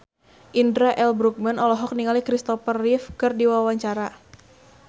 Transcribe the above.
Indra L. Bruggman olohok ningali Kristopher Reeve keur diwawancara